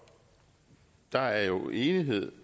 der er jo enighed